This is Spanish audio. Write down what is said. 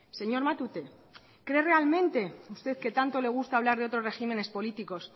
señor matute cree realmente usted que tanto le gusta hablar de otros regímenes políticos